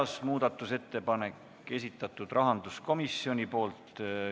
Neljas muudatusettepanek on rahanduskomisjoni esitatud.